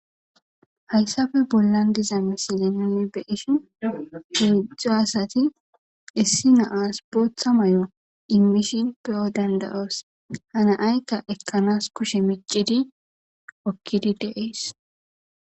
Haysappe bollan diza misile nuni beyishn hezhzhu asati botha mayo imishin beyo dandayos na'ayika ikanas kushe micidi hokidi de'es